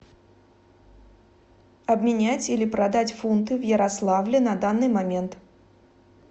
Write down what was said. обменять или продать фунты в ярославле на данный момент